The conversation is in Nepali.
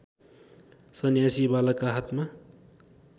सन्यासी बालकका हातमा